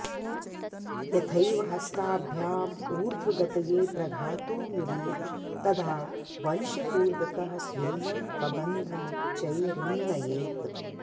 यथैव हस्ताभ्यामूर्ध्वगतये प्रघातो मिलेत् तदा वंशकूर्दकः स्वीयं कबन्धमुच्चैरुन्नयेत्